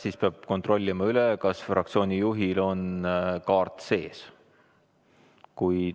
Siis peab üle kontrollima, kas fraktsiooni juhil on kaart sees.